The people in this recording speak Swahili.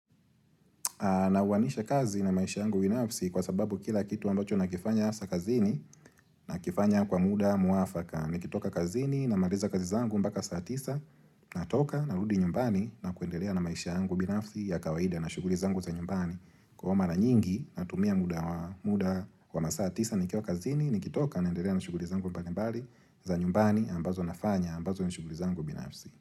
Na uwanisha kazi na maisha yangu binafsi kwa sababu kila kitu ambacho na kifanya hasa kazini na kifanya kwa muda muafaka. Nikitoka kazini na maliza kazi zangu mpaka saatisa, natoka na rudi nyumbani na kuendelea na maisha yangu binafsi ya kawaida na shughuli zangu za nyumbani. Ko mara nyingi natumia muda wa masaa tisa nikiwa kazini, nikitoka naendelea na shughuli zangu mbali mbali za nyumbani ambazo nafanya ambazo ni shughuli zangu binafsi.